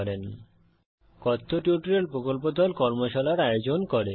কথ্য টিউটোরিয়াল প্রকল্প দল কথ্য টিউটোরিয়াল ব্যবহার করে কর্মশালার আয়োজন করে